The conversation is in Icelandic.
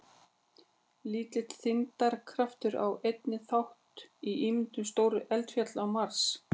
Lítill þyngdarkraftur á einnig þátt í myndum stórra eldfjalla á Mars.